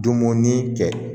Dumuni kɛ